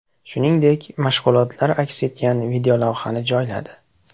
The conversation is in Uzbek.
Shuningdek, mashg‘ulotlar aks etgan videolavhani joyladi.